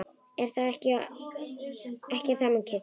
Ekki er það mikið!